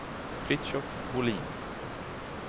Fritiof Bolin